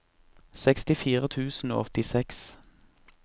sekstifire tusen og åttiseks